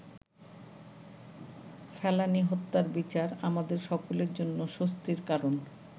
ফেলানী হত্যার বিচার আমাদের সকলের জন্য স্বস্তির কারণ।